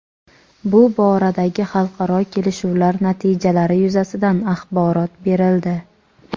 bu boradagi xalqaro kelishuvlar natijalari yuzasidan axborot berildi.